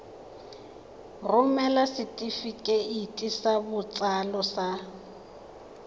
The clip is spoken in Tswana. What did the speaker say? romela setefikeiti sa botsalo sa